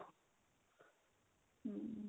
hm